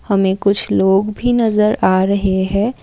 हमें कुछ लोग भी नजर आ रहे हैं।